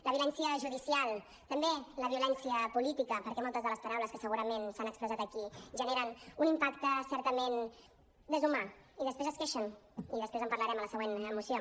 la violència judicial també la violència política perquè moltes de les paraules que segurament s’han expressat aquí generen un impacte certament deshumanitzador i després es queixen i després en parlarem a la següent moció